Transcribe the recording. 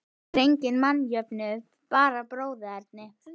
Nú er enginn mannjöfnuður, bara bróðerni.